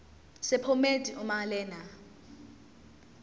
sephomedi uma lena